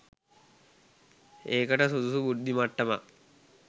ඒකට සුදුසු බුද්ධිමට්ටමක්